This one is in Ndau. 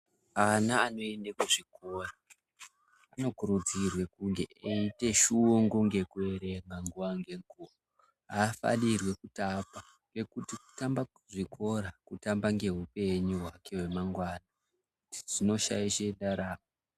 Ana anoende kuzvikora anokurudzirwe kunge eite shungu ngokuerenga nguwa nenguwa, afanirwi kupata ngokuti kutamba kuzvikora kutamba noupenyu wake wemangwana zvinoshaishe ndaramo.